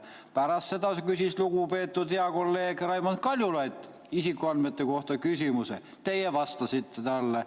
Pärast seda küsis lugupeetud hea kolleeg Raimond Kaljulaid isikuandmete kohta küsimuse, teie vastasite talle.